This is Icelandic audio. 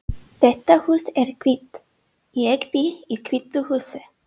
Þetta hús er hvítt. Ég bý í hvítu húsi.